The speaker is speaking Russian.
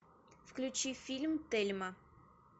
включи фильм тельма